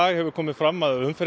hefur komið fram að umferðin